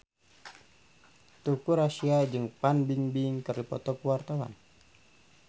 Teuku Rassya jeung Fan Bingbing keur dipoto ku wartawan